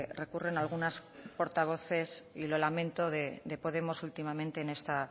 recurren algunas portavoces y lo lamento de podemos últimamente en esta